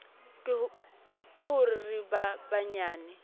ke ho re ba banyane